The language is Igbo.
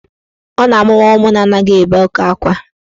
Ọ na-amụwa ụmụ na anaghị ebe oke akwa